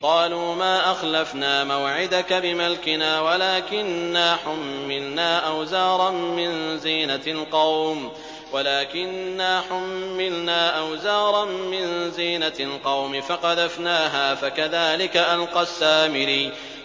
قَالُوا مَا أَخْلَفْنَا مَوْعِدَكَ بِمَلْكِنَا وَلَٰكِنَّا حُمِّلْنَا أَوْزَارًا مِّن زِينَةِ الْقَوْمِ فَقَذَفْنَاهَا فَكَذَٰلِكَ أَلْقَى السَّامِرِيُّ